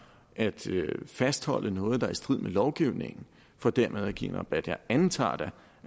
er at fastholde noget der er i strid med lovgivningen for dermed at give en rabat jeg antager da